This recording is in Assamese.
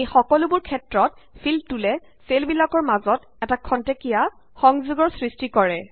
এই সকলোবোৰ ক্ষেত্ৰত ফিল টুল এ চেলবিলাকৰ মাজত এটা খন্তেকীয়া সংযোগৰ সৄষ্টি কৰে